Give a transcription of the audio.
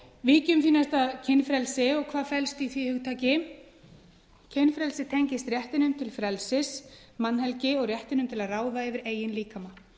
næst að kynfrelsi og hvað felst í því hugtaki kynfrelsi tengist réttinum til frelsis mannhelgi og réttinum til að ráða yfir eigin líkama